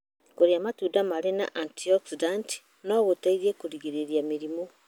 Kũrĩa matunda marĩ na antioxidant no gũteithie kũgirĩrĩria mĩrimũ.